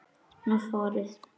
Hún farið.